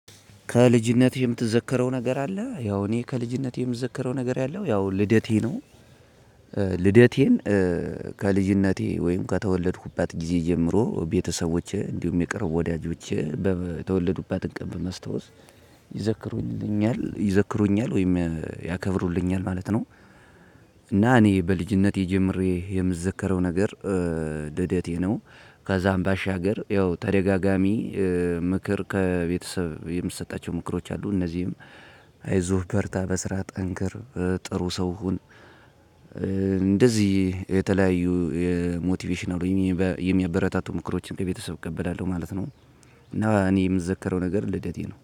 ከልጅነት የምትዘከረው ነገር አለ ያው እኔ ከልጅነት የምዘከረው ነገር ያለው ያው ልደቴ ነው። ልደቴን ከልጅነቴ ወይም ከተወለድኩባት ጊዜ ጀምሮ ቤተሰቦቼ እንዲሁም የቅርብ ወዳጆቼ በተወለዱባት እንቅም በመስታወስ ይዘክሩልኛል ይዘክሩኛል ወይም ያከብሩልኛል ማለት ነው። እና እኔ በልጅነቴ ጀምሬ የምዘከረው ነገር ልደቴ ነው። ከዛም ባሻገር ያው ተደጋጋሚ ምክር ከቤተሰብ የምትሰጣቸው ምክሮች አሉ። እነዚህም አይዞህ በርታ በስራ ጠንክር ጥሩ ሰው ሁን። እንደዚህ የተለያዩ የሞቲቬሽናል የሚያበረታቱ ምክሮችን ከቤተሰብ እቀበላለሁ ማለት ነው። እና እኔ የምዘከረው ነገር ልደቴ ነው